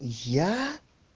я